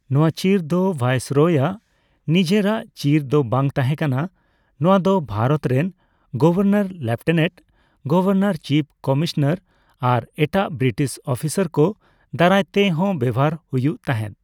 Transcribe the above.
ᱱᱚᱣᱟ ᱪᱤᱨ ᱫᱚ ᱵᱷᱟᱭᱥᱚᱨᱚᱭ ᱟᱜ ᱱᱤᱡᱮᱨᱟᱜ ᱪᱤᱨ ᱫᱚ ᱵᱟᱝ ᱛᱟᱦᱮᱸᱠᱟᱱᱟ; ᱱᱚᱣᱟ ᱫᱚ ᱵᱷᱟᱨᱚᱛ ᱨᱮᱱ governor, lieutenant governor, chief commissioner ᱟᱨ ᱮᱴᱟᱜ ᱵᱨᱤᱴᱤᱥ ᱚᱯᱷᱤᱥᱟᱨ ᱠᱚ ᱫᱟᱨᱟᱭ ᱛᱮᱦᱚᱸ ᱵᱮᱣᱦᱟᱨ ᱦᱩᱭᱩᱜ ᱛᱟᱦᱮᱸᱫ ᱾